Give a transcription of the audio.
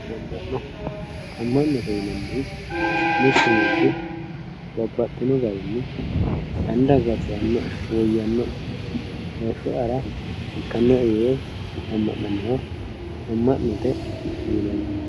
amma'no. amma'note yinanniti mittu manchi babbaxxino garinni anera gatisannoe woyyannoe heeshsho'yara ikkannoe yee amma'nannoha amma'note yinanni.